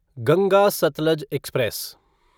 Ganga Satluj express